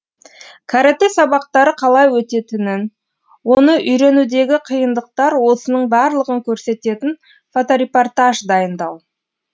каратэ сабақтары қалай өтетінін оны үйренудегі қиындықтар осының барлығын көрсететін фоторепортаж дайындау